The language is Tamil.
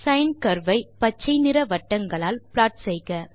சைன் கர்வ் ஐ பச்சைநிற வட்டங்களால் ப்ளாட் செய்க